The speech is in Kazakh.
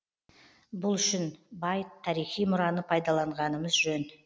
бұл үшін бай тарихи мұраны пайдаланғанымыз жөн